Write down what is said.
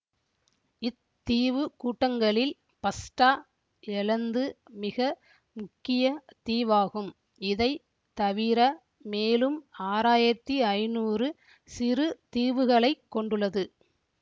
இத்தீவுக்கூட்டங்களில் பஸ்டா எலந்து மிக முக்கிய தீவாகும் இதை தவிர மேலும் ஆறாயிரத்தி ஐநூறு சிறுதீவுகளைக் கொண்டுள்ளது